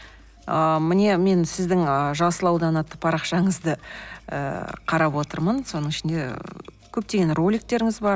ыыы міне мен сіздің ы жасыл аудан атты парақшанызды ыыы қарап отырмын соның ішінде көптеген роликтеріңіз бар